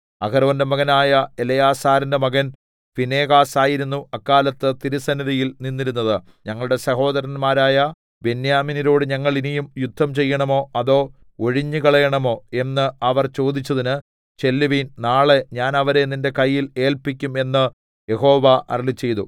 അഹരോന്റെ മകനായ എലെയാസാരിന്റെ മകൻ ഫീനെഹാസ് ആയിരുന്നു അക്കാലത്ത് തിരുസന്നിധിയിൽ നിന്നിരുന്നത് ഞങ്ങളുടെ സഹോദരന്മാരായ ബെന്യാമീന്യരോട് ഞങ്ങൾ ഇനിയും യുദ്ധം ചെയ്യണമോ അതോ ഒഴിഞ്ഞുകളയേണമോ എന്ന് അവർ ചോദിച്ചതിന് ചെല്ലുവിൻ നാളെ ഞാൻ അവരെ നിന്റെ കയ്യിൽ ഏല്പിക്കും എന്ന് യഹോവ അരുളിച്ചെയ്തു